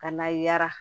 Ka na yara